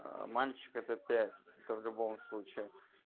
аа мальчик это пять это в любом случае